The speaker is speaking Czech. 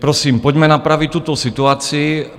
Prosím, pojďme napravit tuto situaci.